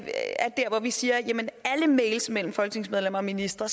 er der hvor vi siger at alle mails mellem folketingsmedlemmer og ministre